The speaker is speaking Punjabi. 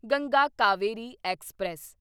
ਗੰਗਾ ਕਾਵੇਰੀ ਐਕਸਪ੍ਰੈਸ